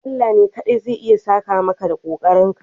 Allah ne kaɗai zai iya saka maka da kokarinka.